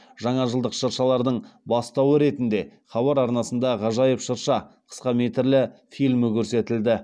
жаңажылдық шыршалардың бастауы ретінде хабар арнасында ғажайып шырша қысқаметрлі фильмі көрсетілді